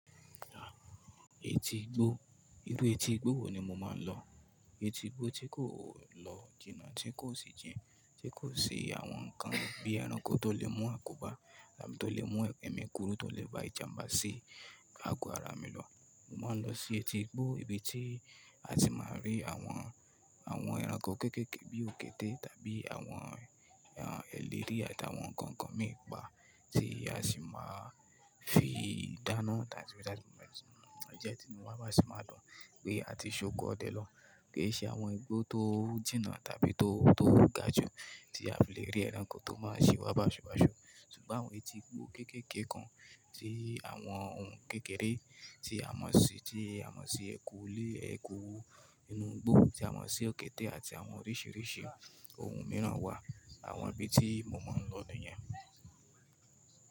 Ẹti igbó, irú etí igbó wo ni mo máa ń lọ? Eti igbó tí kò lọ jìnà, tí kò sì jìn, tí kò sì àwọn nǹkan bíi ẹranko tó lè mú àkóbá tàbí tó lè mú ẹ̀mí kúrú, tó lè ba ìjàǹbá sí ago ara mi lọ. Mo máa ń lọ sí etí igbó ibi tí a ti máa rí àwọn, àwọn ẹranko kéékèèké bíi òkété tàbí àwọn, àwọn ẹlẹ́rìí àti àwọn nǹkan kan mìí pa tí a sì máa fi dáná tàbí bí àti ìjẹ́tínú wa sì máa dùn pé a ti ṣòkòó dẹ̀ lọ. Kì í ṣe àwọn igbó tó jìnà tàbí tó, tó ga jù tí a fi lè rí ẹranko tó máa ṣiwa bá ṣubọṣu. Ṣùgbọ́n àwọn etí igbó kéékèèké kan tí àwọn ohun kékeré tí a mọ̀ sí, tí a mọ̀ sí eku ilé, eku inú igbó tí a mọ̀ sí òkété àti àwọn oríṣìíríṣìí ohun mìíràn wà. Àwọn ibi tí mo máa ń lọ nìyén.